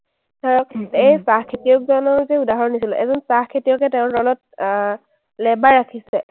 ধৰক এই চাহ খেতিয়কজনৰ যে উদাহৰণ দিছিলো, এজন চাহ খেতিয়কে তেওঁৰ তলত আহ labor ৰাখিছে।